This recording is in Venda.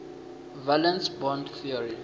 valence bond theory